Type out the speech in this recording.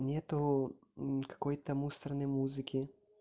нет никакой-то мусорной музыки